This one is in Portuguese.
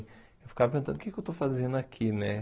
Eu ficava perguntando o que que eu estou fazendo aqui, né?